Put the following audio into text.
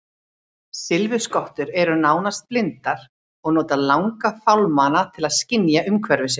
Silfurskottur eru nánast blindar og nota langa fálmara til að skynja umhverfi sitt.